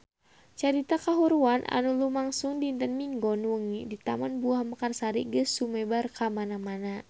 Carita kahuruan anu lumangsung dinten Minggon wengi di Taman Buah Mekarsari geus sumebar kamana-mana